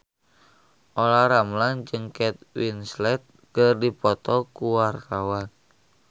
Olla Ramlan jeung Kate Winslet keur dipoto ku wartawan